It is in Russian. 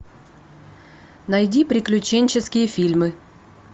найди приключенческие фильмы